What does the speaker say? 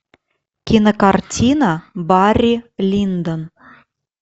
кинокартина барри линдон